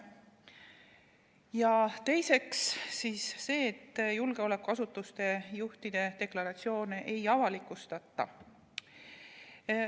Ja teiseks see, et julgeolekuasutuste juhtide deklaratsioone ei avalikustata.